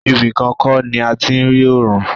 Ibi kan kọ́ ni a ti ń rí ọ̀run.